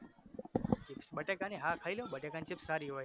બટેકાની હા ખઈ લવને બટેકાની chips સારી હોય